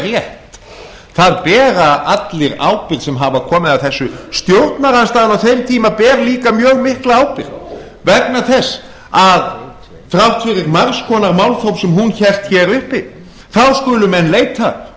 rétt það bera allir ábyrgð sem hafa komið að þessu stjórnarandstaðan á þeim tíma ber líka mjög mikla ábyrgð vegna þess að þrátt fyrir margs konar málþóf sem hún hélt hér uppi þá skulu menn leita